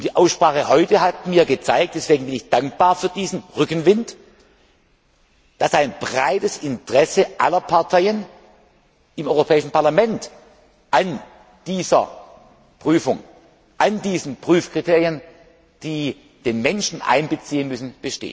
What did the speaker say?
Und die Aussprache heute hat mir gezeigt deswegen bin ich dankbar für diesen Rückenwind dass ein breites Interesse aller Parteien im Europäischen Parlament an dieser Prüfung, an diesen Prüfkriterien besteht, die den Menschen einbeziehen müssen.